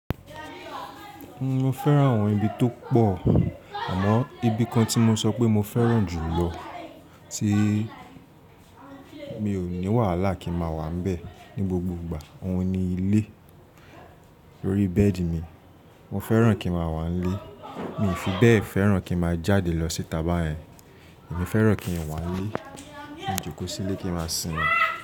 Mo fẹ́ràn àwọn ibi tó pọ̀, àmọ́ ibi kan tí mo sọ pé mo fẹ́ràn jù lọ tí mi ò ní wàhálà kí n máa wà nbẹ̀ ní gbogbo ìgbà, òun ni ilé. Lórí bẹ́ẹ̀dì mi, mo fẹ́ràn kí n máa wà nílé, mi ò fi bẹ́ẹ̀ fẹ́ràn kí n máa jáde lọ sí ità bàyen, emi fẹ́ràn kí n wà nílé, ki n jókòó sílé kí n máa sìnmi.